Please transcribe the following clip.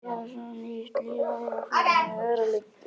Kannski er það svo að nýtt líf eigi fyrir mér að liggja.